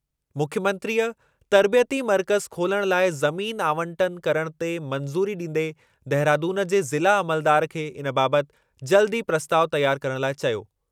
मुख्यमंत्रीअ तर्बियती मर्कज़ु खोलणु लाइ ज़मीन आवंटन करणु ते मंज़ूरी ॾींदे देहरादून जे ज़िला अमलदार खे इन बाबति जल्दु ई प्रस्तावु तयारु करणु लाइ चयो।